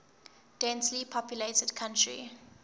densely populated country